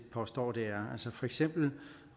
påstå det er for eksempel